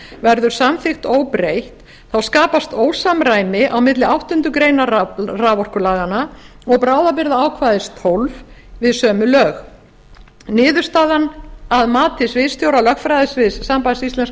verður samþykkt óbreytt skapast ósamræmi á milli áttundu greinar raforkulaganna og bráðabirgðaákvæðis tólf við sömu lög niðurstaðan að mati sviðsstjóra lögfræðisviðs sambands íslenskra